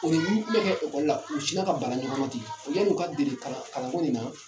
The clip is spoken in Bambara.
O ni min bɛ kɛ elɔli la u bi sina ka bala ɲɔgɔn ten , ɔ yani u ka deli ɲɔgɔnna kalan ko in na.